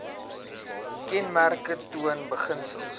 kenmerke toon beginsels